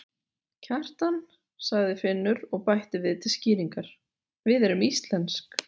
Kjartan, sagði Finnur og bætti við til skýringar: Við erum íslensk.